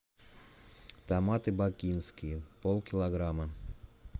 томаты бакинские полкилограмма